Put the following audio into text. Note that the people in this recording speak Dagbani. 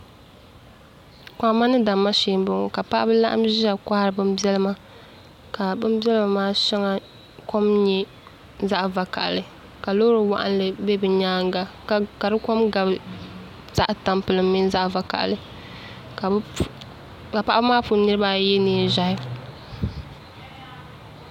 Kohamma ni damma shee n boŋo ka paɣaba laɣam ʒiya kohari bin biɛlima ka bin biɛlima maa kom nyɛ zaɣ vakaɣali ka loori waɣanli bɛ bi nyaanga ka di kom gabi zaɣ tampilim mini zaɣ vakaɣali ka paɣaba maa puuni niraba ayi yɛ neen ʒiɛhi